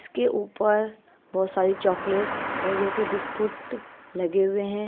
उसके ऊपर बहोत सारी चॉकलेट्स और जो कि है बिस्कुट लगे हुए हैं।